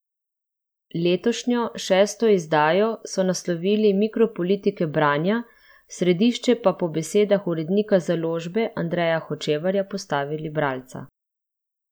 Letošnjo, šesto izdajo, so naslovili Mikropolitike branja, v središče pa po besedah urednika založbe Andreja Hočevarja postavili bralca.